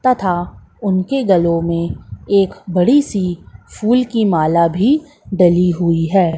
तथा उनके गलों में एक बड़ी सी फूल की माला भी डाली हुई है।